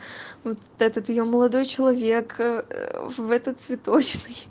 вот этот её молодой человек в этот цветочный